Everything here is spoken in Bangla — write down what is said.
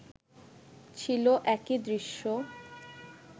ছিল একই দৃশ্য